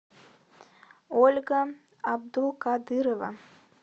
ольга абдулкадырова